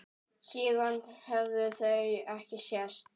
Síðan höfðu þau ekki sést.